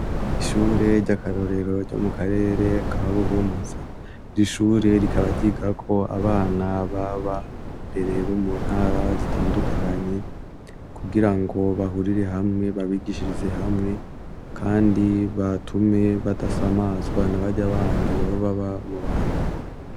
Ishure ry'akarorero ryo mu karere ka Buhumuza, iri shure rikaba ryigako abana babambere bo mu ntara zitandukanye, kugira ngo bahurire hamwe babigishirize hamwe, kandi batume badasamazwa na bariya bandi baba baba mu banyuma.